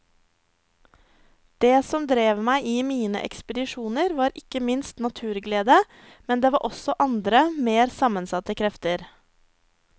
Det som drev meg i mine ekspedisjoner var ikke minst naturglede, men det var også andre mer sammensatte krefter.